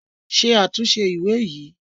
Ṣe àtúntẹ̀ ìwé yìí!